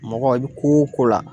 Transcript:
Mɔgɔ i bi ko o ko la